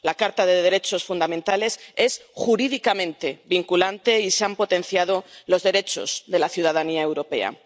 La Carta de los Derechos Fundamentales es jurídicamente vinculante y se han potenciado los derechos de la ciudadanía europea.